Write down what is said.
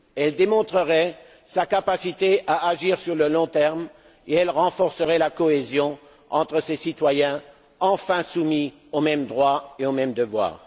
Elle démontrerait sa capacité à agir à long terme et renforcerait la cohésion entre ses citoyens, enfin soumis aux mêmes droits et aux mêmes devoirs.